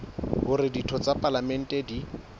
hore ditho tsa palamente di